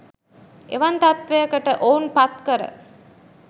එවන් තත්ත්වයකට ඔවුන් පත් කර